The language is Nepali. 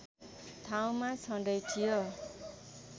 ठाउँमा छँदै थियो